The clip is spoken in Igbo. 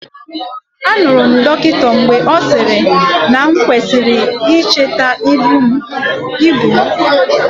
Anụrụ m dọkịta mgbe ọ sịrị na m kwesịrị icheta ibu m.